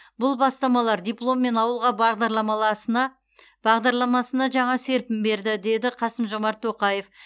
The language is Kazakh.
бұл бастамалар дипломммен ауылға бағдарламаласына бағдарламасына жаңа серпін берді деді қасым жомарт тоқаев